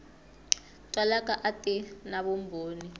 twalaka a ti na vumbhoni